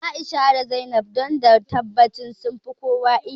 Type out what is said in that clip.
A'isha da Zainab don da tabbacin sunfi kowa iya wa